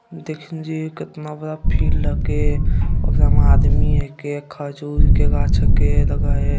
कितना बड़ा फील्ड लगे उस में आदमी के खजूर के गाछ के लगा है।